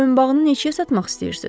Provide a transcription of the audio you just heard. Boyunbağını neçəyə satmaq istəyirsiz?